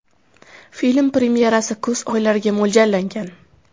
Film premyerasi kuz oylariga mo‘ljallangan.